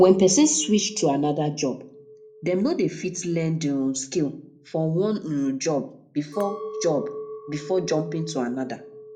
when person switch to anoda job dem no de fit learn di um skills for one um job before job before jumping to another